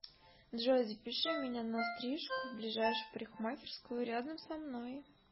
джой запиши меня на стрижку в ближайшую парикмахерскую рядом со мной